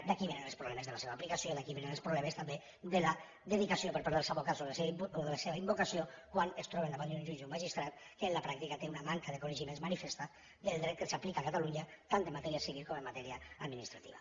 d’aquí vénen els problemes de la seva aplicació d’aquí vénen els problemes també de la dedicació per part dels advocats o de la seva invocació quan es troben davant d’un jutge o un magistrat que en la pràctica té una manca de coneixements manifesta del dret que s’aplica a catalunya tant en matèria civil com en matèria administrativa